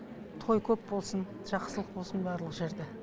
той көп болсын жақсылық болсын барлық жерде